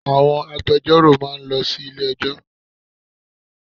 Àwọn agbejọ́rò máa lọ sí ilé ẹjọ́.